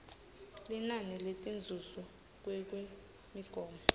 linani letinzuzo ngekwemigomo